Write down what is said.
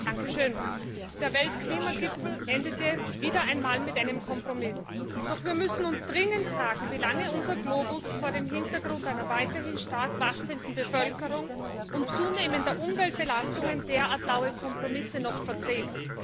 Herr Präsident! Der Weltklimagipfel endete wieder einmal mit einem Kompromiss. Doch wir müssen uns dringend fragen, wie lange unser Globus vor dem Hintergrund einer weiterhin stark wachsenden Bevölkerung und zunehmender Umweltbelastungen derart laue Kompromisse noch verträgt.